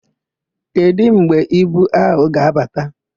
Kedụ mgbe ibu áhụ̀ ga-abata?